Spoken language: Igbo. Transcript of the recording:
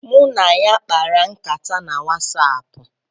Mụ na ya kpara nkata na Wasaapu